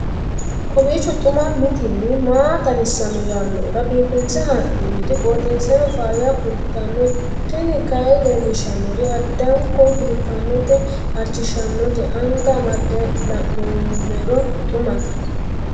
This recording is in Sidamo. kowiicho xuma mtini maa xawissanno yaannohura biifinse haa'noonniti qooxeessano faayya kultanno tini kayi leellishshannori addanko biiffannote halchishshannote anga amande la'noommero xumate